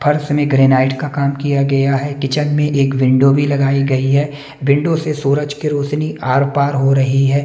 फर्स में ग्रेनाइट का काम किया गया है किचन में एक विंडो भी लगाई गई है विंडो से सूरज की रोशनी आर-पार हो रही है।